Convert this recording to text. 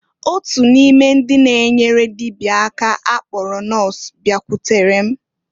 Otu onye n'ime ndị na-enyere dịbịa aka akpọrọ nọs bịakwutere m.